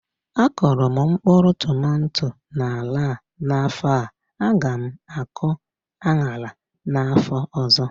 A kụrụ m mkpụrụ tomato na ala a n'afọ a, a gá m akụ aṅara n'afọ ọzọ